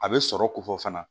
A bɛ sɔrɔ kofɔ fana